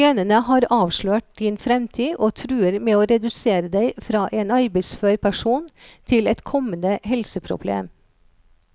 Genene har avslørt din fremtid og truer med å redusere deg fra en arbeidsfør person til et kommende helseproblem.